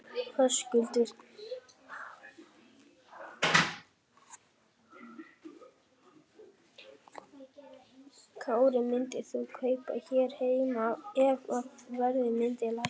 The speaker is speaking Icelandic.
Höskuldur Kári: Myndir þú kaupa hér heima ef að verð myndi lækka?